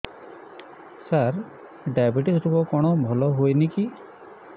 ସାର diabetes ରୋଗ କଣ ଭଲ ହୁଏନି କି